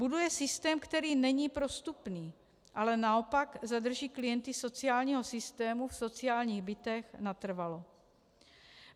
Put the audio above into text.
Buduje systém, který není prostupný, ale naopak zadrží klienty sociálního systému v sociálních bytech natrvalo.